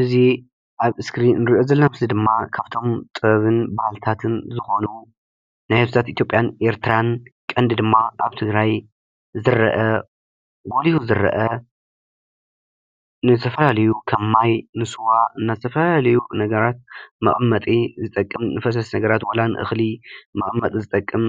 እዚ ኣብ እስክሪን እንሪኦ ዘለና ምስሊ ድማ ካብቶም ጥበብን ባህልታትን ዝኾኑ ናይ ህዝብታት ኢትዮጵያን ኤርትራን ቀንዲ ድማ ኣብ ትግራይ ዝርአ ጎሊሁ ዝርአ ንዝተፈላለዩ ከም ማይ ንስዋ ንተፈላለዩ ነገራት መቐመጢ ዝጠቅም ንፈሰስቲ ነገራት ዋላ ንእኽሊ መቐመጢ ዝጠቅም